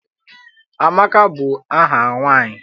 Amaka bụ aha nwaanyị.